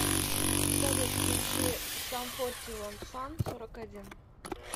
салют включи сам фоти ван сам сорок один